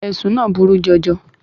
Ẹ̀sùn náà burú jọjọ.